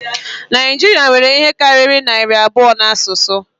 Naịjirịa nwere ihe karịrị narị abụọ na asụsụ